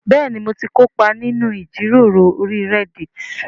Bẹ́ẹ̀ni mo ti kópa nínú ìjíròrò orí Reddit